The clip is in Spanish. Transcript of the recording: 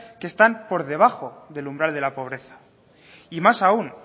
que están por debajo del umbral de la pobreza y más aún